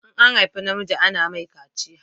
In an haifa namiji ana mai kaciya